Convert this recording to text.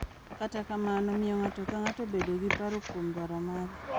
Kata kamano, miyo ng’ato ka ng’ato bedo gi paro kuom dwaro mare .